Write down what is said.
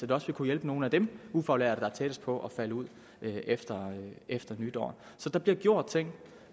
vil også kunne hjælpe nogle af de ufaglærte der er tættest på at falde ud efter efter nytår så der bliver gjort ting